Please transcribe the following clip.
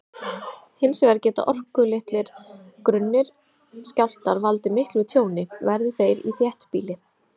Hins vegar geta orkulitlir, grunnir skjálftar valdið miklu tjóni, verði þeir í þéttbýli.